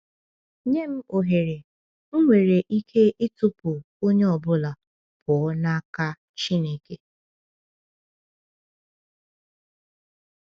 Nye m ohere, m nwere ike ịtụpụ onye ọ bụla pụọ n’aka Chineke.